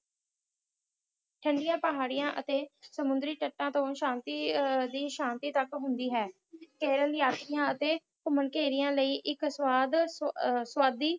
ਚੰਗੀਆਂ ਪਹਾੜਾਂ ਤੇ ਸੁੰਦਰੀ ਤਤਾ ਤੋਂ ਇਕ ਅਲੱਗ ਸਾਹਨੀ ਪਰਬਤ ਹੁੰਦੀ ਹੈ ਕੇਰਲ ਯਾਤਰਾ ਤੇ ਕੁਮਾਨ ਕਰਿਆ ਲਾਇ ਇਕ ਸਵਾਦੀ